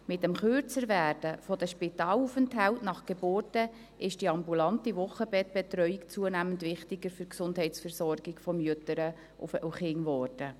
Mit dem Kürzerwerden der Spitalaufenthalte nach Geburten wurde die ambulante Wochenbettbetreuung zunehmend wichtiger für die Gesundheitsversorgung von Müttern und Kindern.